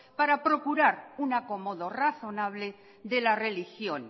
para procurar un acomodo razonable de la religión